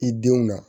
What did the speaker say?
I denw na